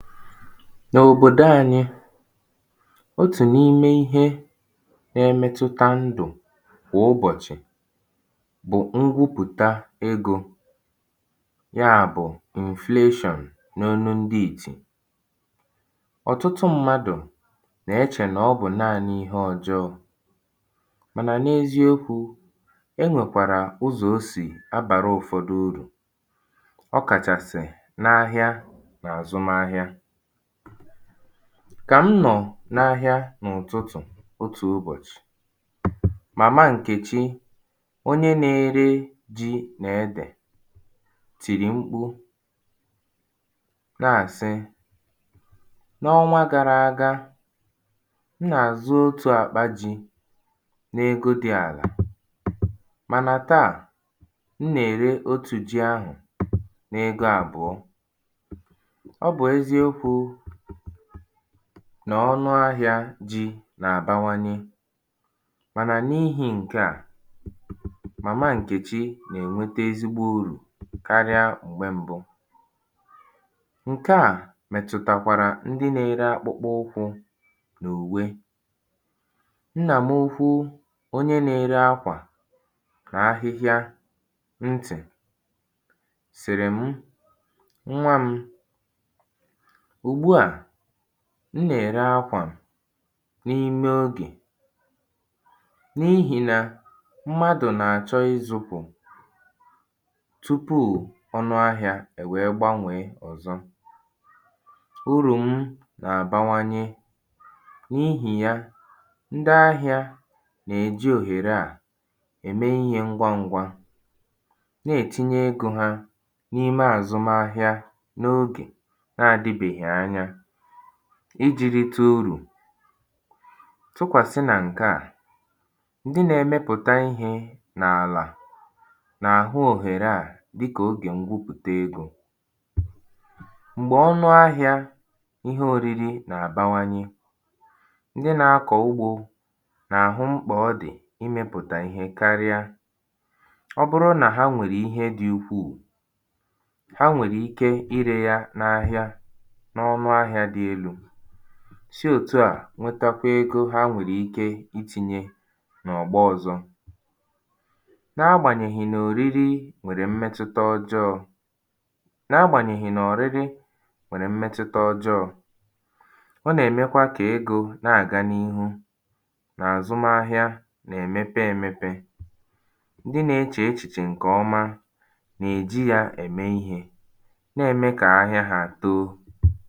N’òbòdo ānyị̄, otù n’ime ihe na-emetụta ndụ̀ kwà ubọ̀chị̀ bụ̀ ṅgwupùta egō ya bụ̀ inflation n’onu ndị ìtì. Ọ̀tụtụ mmadụ̀ nà-echè nà ọ bụ̀ naanị̄ ihe ọjọọ̄. Mànà n’eziokwū, e nwèkwàrà ụzọ̀ o sì abàra ụfọdụ urù ọ̀ kàchàsị̀ n’ahịa nà àzụmahịa. Kà m nọ̀ n’ahia n’ụ̀tụtụ̀, otù ụbọ̀chị̀, Màma Ṅ̀kèchi onye na-ere ji nà edè tìrì mkpu na-àsị “n’ọnwa gārā āgā m nà-àzụ otū àkpa jī n’ego dị̄ àlà, mànà taà, m nà-ère otù ji ahụ̀ n’ego àbụ̀ọ”. Ọ bụ̀ eziokwū nà ọnụ ahịā jī na-àbawanye mànà n’ihī ṅ̀ke à, Màma Ṅ̀kèchi nà-ènwete ezigbo urù karịa m̀gbe m̄bụ̄. Ṅ̀ke à mètụ̀tàkwàrà ndị na-ere akpụkpọụkwụ̄ nà ùwe. Nnà m ukwu onye nā-ērē akwà nà ahịhịa ntị̀ sị̀ṛ̀i m ‘nwa m̄, ùgbuà m nà ère akwà n’ime ogè n’ihì nà mmadụ̀ nà-àchọ ịzụ̄pụ̀ tupuù ọnụ ahịā èwèe gbanwee ọ̀zọ, urù m gà àbawanye’. N’ihì ya ndi ahịā nà-èji òhère à eme ihe ṅgwaṅ̄gwā na-ètinye egō hā n’ime àzụmahịa n’ogè na-adịbèhì anya ijī rite urù. Tụkwàsị nà ṅ̀ke à, ndị nā-emepụ̀ta ihe n’àlà nà àhụ òhère à dịkà ogè ṅgwupùta egō. M̀gbè ọnụ ahịā ihe ōrīrī nà àbawanye ndị na-akọ̀ ugbō, nà àhụ mkpà ọ dị̀ imēpụ̀tà ihe karịa. Ọ bụrụ nà ha nwèrè ihe dị̄ ukwuù, ha nwèrè ike irē yā n’ahịa n’’ọnụ ahịā dị elū si òtu à nwetakwa ego ha nwèrè ike itīnyē n’ọ̀gbọ ọ̄zọ̄. N’agbànyèhì nà òriri nwèrè mmetụta ọjọọ̄, na agbànyèhì nà ọ̀rịrị nwèrè mmetụta ọjọọ̄, ọ nà èmekwa kà eegō na-àga n’ihu n’àzụmahịa nà-èmepe ēmēpē.Ndị na-eechè echìchè ṅ̀kè ọma nà-èji yā ème ihē na-ème kà ahịa hā tōō.